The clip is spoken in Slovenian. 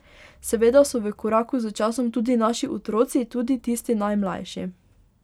Seveda so v koraku s časom tudi naši otroci, tudi tisti najmlajši.